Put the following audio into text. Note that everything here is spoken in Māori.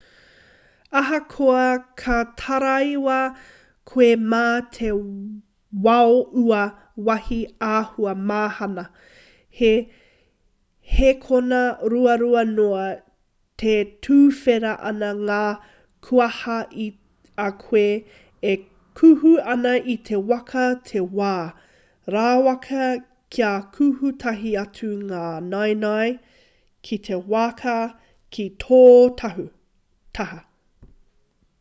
ahakoa ka taraiwa koe mā te wao ua wāhi āhua mahana he hēkona ruarua noa e tuwhera ana ngā kuaha i a koe e kuhu ana i te waka te wā rawaka kia kuhu tahi atu ngā naenae ki te waka ki tō taha